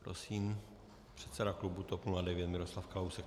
Prosím, předseda klubu TOP 09 Miroslav Kalousek.